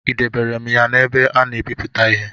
I debere m ya n’ebe a na-ebiputa ihe?